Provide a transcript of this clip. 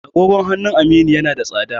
agogon hanunun Aminu yana da tsada